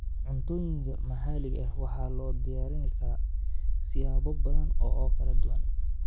Cuntooyinka maxaliga ah waxaa loo diyaarin karaa siyaabo badan oo kala duwan